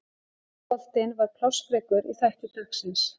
Enski boltinn var plássfrekur í þætti dagsins.